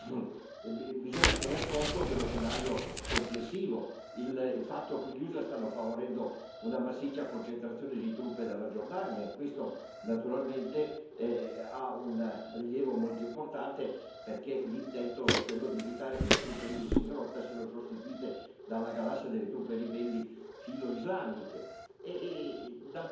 Io credo che bisogna tener conto dello scenario complessivo, del fatto che gli Stati Uniti stanno favorendo una massiccia concentrazione di truppe dalla Giordania e questo, naturalmente, ha un rilievo molto importante perché l'intento è di evitare che le truppe Isis in rotta siano sostituite dalla galassia delle truppe ribelli filoislamiche.